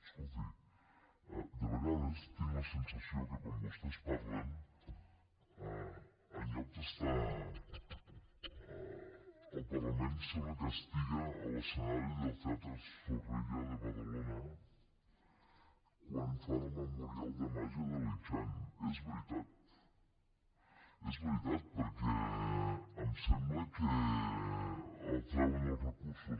escolti de vegades tinc la sensació que quan vostès parlen en lloc d’estar al parlament sembla que estiguin a l’escenari del teatre zorrilla de badalona quan fan el memorial de màgia de li chang és veritat és veritat perquè em sembla que treuen els recursos